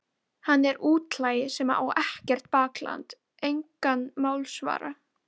Ómögulegt að koma orðum að því eftir samtalið.